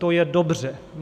To je dobře.